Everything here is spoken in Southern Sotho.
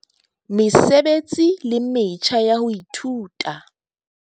Mesebetsi le metjha ya ho ithuta.